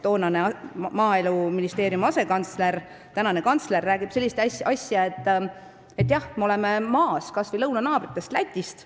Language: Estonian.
Toonane Maaeluministeeriumi asekantsler, tänane kantsler rääkis seal sellist asja, et jah, me oleme maas kas või lõunanaabrist Lätist.